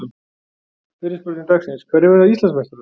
Fyrri spurning dagsins: Hverjir verða Íslandsmeistarar?